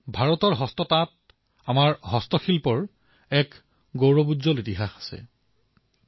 ভাৰতৰ হস্ততাঁত আমাৰ হস্তশিল্পত শতাধিক বৰ্ষৰ গৌৰৱময়ী ইতিহাস জড়িত হৈ আছে